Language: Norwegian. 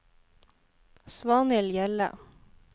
Svanhild Hjelle